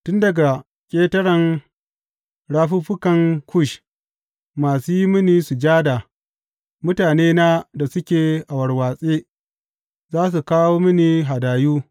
Tun daga ƙetaren rafuffukan Kush masu yi mini sujada, mutanena da suke a warwatse, za su kawo mini hadayu.